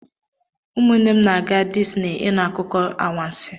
ụmụnne m na-aga Disney ịnụ akụkọ anwansi